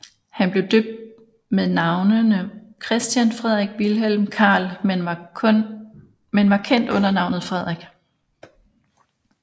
Han blev døbt med navnene Christian Frederik Vilhelm Carl men var kendt under navnet Frederik